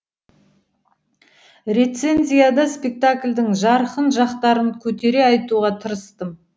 рецензияда спектакльдің жарқын жақтарын көтере айтуға тырыстым